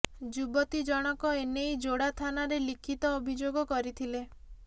ଯୁବତୀ ଜଣକ ଏନେଇ ଯୋଡ଼ା ଥାନାରେ ଲିଖିତ ଅଭିଯୋଗ କରିଥିଲେ